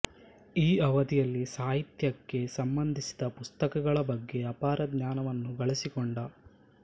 ಈ ಅವಧಿಯಲ್ಲಿ ಸಾಹಿತ್ಯಕ್ಕೆ ಸಂಬಂಧಿಸಿದ ಪುಸ್ತಕಗಳ ಬಗ್ಗೆ ಅಪಾರ ಜ್ಞಾನವನ್ನು ಗಳಿಸಿಕೊಂಡ